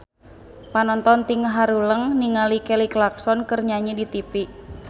Panonton ting haruleng ningali Kelly Clarkson keur nyanyi di tipi